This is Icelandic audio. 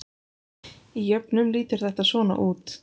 Í jöfnum lítur þetta svona út: